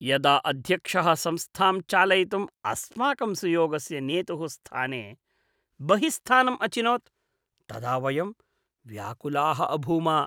यदा अध्यक्षः संस्थां चालयितुम् अस्माकं सुयोग्यस्य नेतुः स्थाने बहिःस्थम् अचिनोत् तदा वयं व्याकुलाः अभूम।